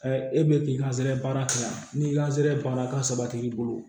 e bɛ k'i ka zɛɛ baara kɛ yan ni ka zɛɛrɛ baara ka sabati i bolo